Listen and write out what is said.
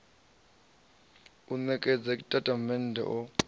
a u ṋekedza tshitatamennde o